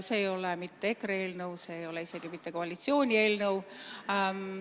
See ei ole mitte EKRE eelnõu, see ei oli isegi mitte koalitsiooni eelnõu.